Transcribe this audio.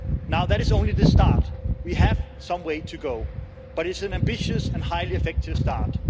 Now that is only the start, we have some way to go, but it's an ambitious and highly effective start.